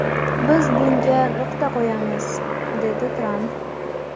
Biz bunga nuqta qo‘yamiz”, dedi Tramp.